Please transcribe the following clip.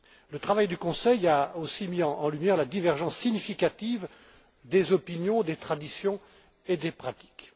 Le travail du Conseil a également mis en lumière la divergence significative des opinions, des traditions et des pratiques.